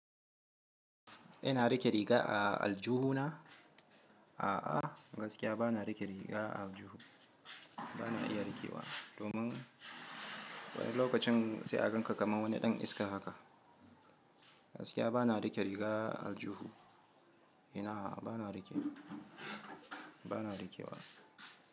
Ina rike riga a aljuhu na? A'a, gaskiya bana rike riga a aljuhu. Bana iya rikewa domin wani lokacin sai an ganka kaman wani ɗan iska haka. Gaskiya bana rike riga a aljuhu. Ina a'a, bana rike, bana rikewa.